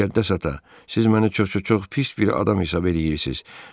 Müqəddəs ata, siz məni çox-çox-çox pis bir adam hesab eləyirsiz.